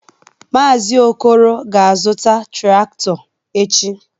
Mazị Okoro ga-azụta traktọ echi.